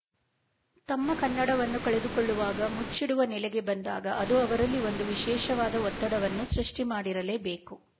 ತಮ್ಮ ಕನ್ನಡವನ್ನು ಕಳೆದುಕೊಳ್ಳುವಾಗ ಮುಚ್ಚಿಡುವ ನೆಲೆಗೆ ಬಂದಾಗ ಅದು ಅವರಲ್ಲಿ ಒಂದು ವಿಶೇಷವಾದ ಒತ್ತಡವನ್ನು ಸೃಷ್ಟಿ ಮಾಡಿರಲೇಬೇಕು